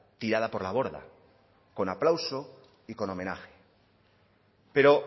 tirada por la borda con aplauso y con homenaje pero